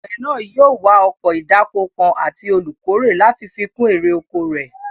Àgbẹ̀ náà yóò wá ọkọ̀ ìdáko kan àti olùkórè láti fi kún èrè oko rẹ̀